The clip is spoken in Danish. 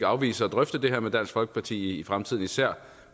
afvise at drøfte det her med dansk folkeparti i fremtiden især